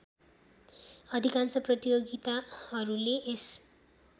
अधिकांश प्रतियोगिताहरूले यस